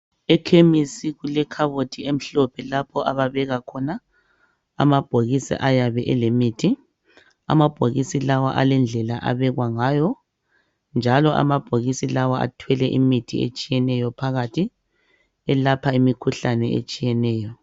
Ekhemisi kulekhabothi emhlophe lapho ababeka khona amabhokisi ayabe elemithi amabhokisi lawa alendlela abekwa ngawo njalo amabhokisi lawa athelwe imithi etshiyeneyo phakathi elapha imikhuhlane etshiyeneyo.